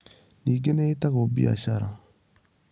Ningĩ nĩ ĩĩtagwo biacara.